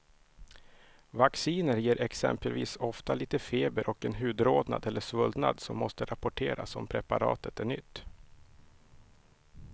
Vacciner ger exempelvis ofta lite feber och en hudrodnad eller svullnad som måste rapporteras om preparatet är nytt.